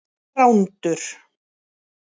Þrándur